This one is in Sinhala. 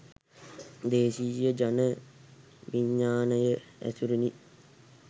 දේශීය ජන විඤ්ඤාණය ඇසුරිනි.